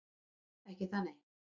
Ekki það nei.